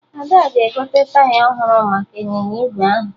Ada ga-egote taya ọhụrụ maka ịnyịnya ígwè ahụ